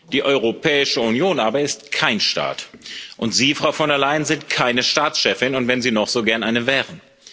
Die Europäische Union aber ist kein Staat, und Sie, Frau von der Leyen, sind keine Staatschefin, und wenn Sie noch so gern eine wären.